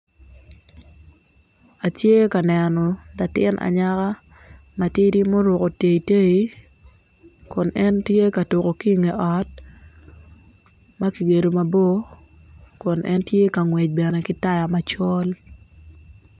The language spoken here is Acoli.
Atye ka neno latin anyaka matidi ma oruko tei tei kun en tye ka tuko ki nge ot makigedo mabor kun en tye ka ngwec bene ki taya macol.